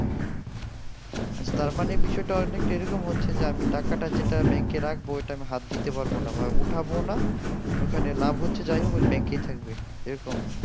আচ্ছা তার মানে বিষয়ে তা অনেক এরকম হচ্ছে যে আমি টাকা তা যেটা bank এ রাখবো ওটা আমি হাথ দিতে পারবো না ওঠাবো না আমি ওখানে লাভ হচ্ছে যাইহোগ bank এই থাকবে